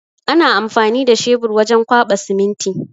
Ana amfani da shebur wajen kwaɓa siminti.